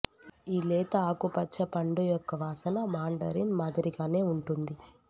ఈ లేత ఆకుపచ్చ పండు యొక్క వాసన మాండరిన్ మాదిరిగానే ఉంటుంది